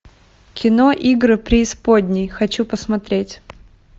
кино игры преисподней хочу посмотреть